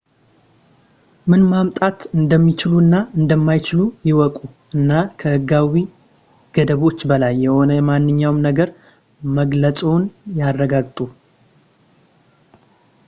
ምን ማምጣት እንደሚችሉ እና እንደማይችሉ ይወቁ እና ከሕጋዊ ገደቦች በላይ የሆነ ማንኛውንም ነገር መግለፅዎን ያረጋግጡ